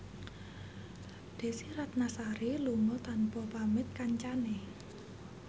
Desy Ratnasari lunga tanpa pamit kancane